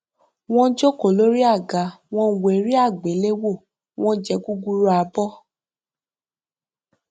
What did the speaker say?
wọn jókòó lórí àga wọn wo eré àgbéléwò wọn jẹ gúrúrú abọ